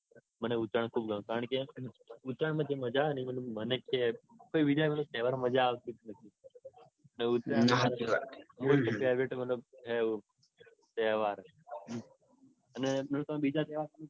મને ઉત્તરાયણ બૌ ગમે. કારણકે ઉત્તરાયણમાં જે મજા હ ને બીજા કોઈ તેહવારમાં મજા આવતી જ નથી. એવું છે. favourite મતલબ favourite તહેવાર છે